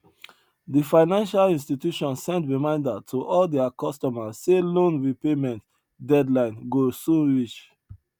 di financial institution send reminder to all their customers say loan repayment deadline go soon reach